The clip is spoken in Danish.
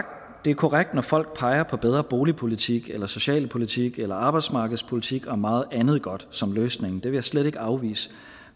det er korrekt når folk peger på bedre boligpolitik eller socialpolitik eller arbejdsmarkedspolitik og meget andet godt som løsning det vil jeg slet ikke afvise